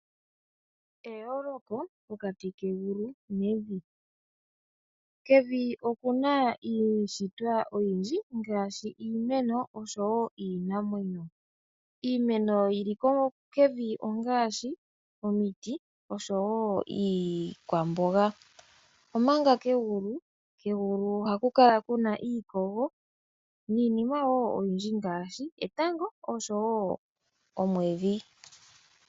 Eyooloko pokati kegulu nevi. Kevin okuna iidhitwa oyindji ngaashi iimeno oshowo iinamwenyo. Iimeno yili kevi ongaashi omiti oshowo iikwamboga. Omanga kegulu ohaku kala kuna iikogo niinima wo oyindji ngaashi etango oshowo omwedhi.